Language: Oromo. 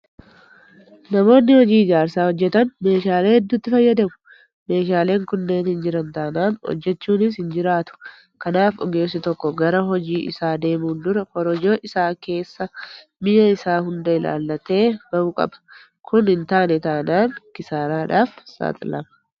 Namoonni hojii ijaarsaa hojjetan meeshaalee hedduutti fayyadamu. Meeshaaleen kunneen hin jiran taanaan hojjechuunis hin jiraatu. Kanaaf ogeessi tokko gara hojii isaa deemuun dura korojoo isaa keessa mi'a isaa hunda ilaallatee bahuu qaba. Kun hintaane taanaan kisaaraadhaaf saaxilama.